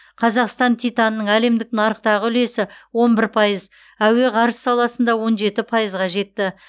қазақстан титанының әлемдік нарықтағы үлесі он бір пайыз әуе ғарыш саласында он жеті пайызға жетті